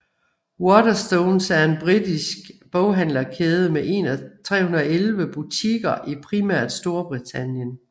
Waterstones er en britisk boghandlerkæde med 311 butikker i primært Storbritannien